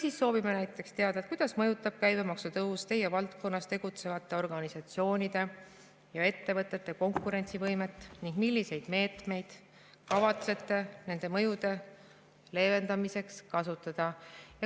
Veel soovime näiteks teada, kuidas mõjutab käibemaksu tõus teie valdkonnas tegutsevate organisatsioonide ja ettevõtete konkurentsivõimet ning milliseid meetmeid kavatsete nende mõjude leevendamiseks kasutada.